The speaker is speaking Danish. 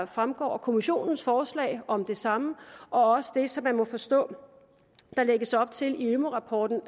fremgår af kommissionens forslag om det samme og også det som man må forstå der lægges op til i ømu rapporten